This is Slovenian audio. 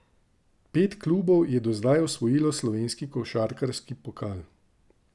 Pet klubov je do zdaj osvojilo slovenski košarkarski pokal.